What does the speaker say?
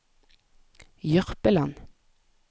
Jørpeland